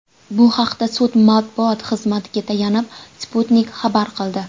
Bu haqda sud matbuot xizmatiga tayanib, Sputnik xabar qildi .